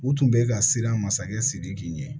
U tun bɛ ka siran masakɛ sidiki ɲɛ